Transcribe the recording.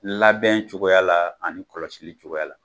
Labɛn cogoya la ani kɔlɔsili cogoya la